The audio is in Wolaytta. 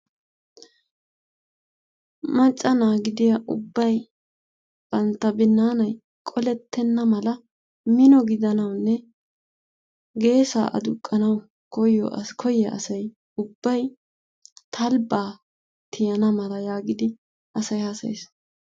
Macca na'a giddiyaa ubbay bantta binnanay qolettena malla minno giddanawune geessa aduqqanawu koyiyaa asay ubbay talbba tiyana mala giidi asay haasayes.